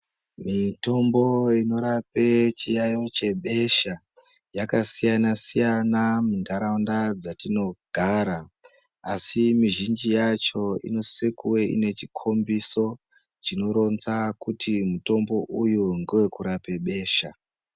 Mitombo inorape chiyayo chebesha yakasiyana-siyana mundaraunda dzatinogara, asi mizhinji yacho inosise kuwe ine chikombiso chinoronzaa kuti mutombo uyu ngowokurape beshaa.